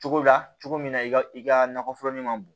Cogo la cogo min na i ka i ka nakɔforo in ma bon